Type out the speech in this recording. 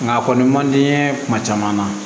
Nka a kɔni man di n ye kuma caman na